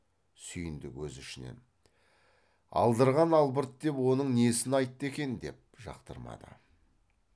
сүйіндік өз ішінен алдырған албырт деп оның несін айтты екен деп жақтырмады